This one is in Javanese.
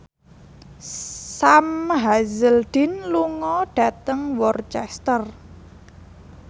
Sam Hazeldine lunga dhateng Worcester